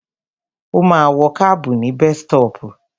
Ó ma wọ kábù ní bestọ́pù.